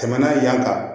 Tɛmɛnen yan tan